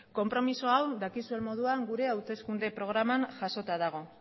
konpromiso hau dakizuen moduan gure hauteskunde programan jasota dago